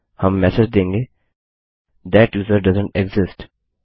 हम मेसेज देंगे that user doesn't exist